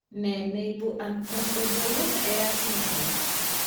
Nee neibu uncombable hair syndrome?